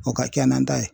O ka kɛ nan ta ye